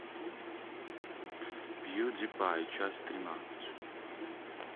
пьюдипай часть тринадцать